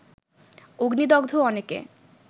অগ্নিদগ্ধ অনেকে